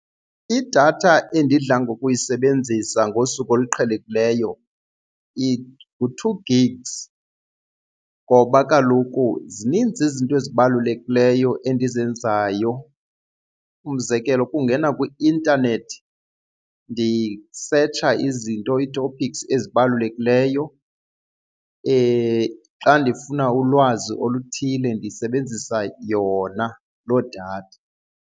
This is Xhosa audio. Idatha endidla ngokuyisebenzisa ngosuku oluqhelekileyo ngu-two gigs ngoba kaloku zininzi izinto ezibalulekileyo endizenzayo, umzekelo ukungena kwi-intanethi ndisetsha izinto ii-topics ezibalulekileyo. Xa ndifuna ulwazi oluthile ndisebenzisa yona loo datha.